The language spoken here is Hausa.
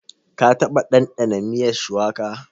Ka taɓa ɗanɗana miyar shuwaka?